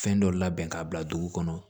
Fɛn dɔ labɛn k'a bila dugu kɔnɔ